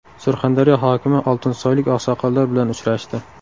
Surxondaryo hokimi oltinsoylik oqsoqollar bilan uchrashdi.